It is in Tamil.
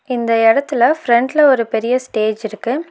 இந்த எடத்துல ஃபிரண்ட்ல ஒரு பெரிய ஸ்டேஜ் இருக்கு.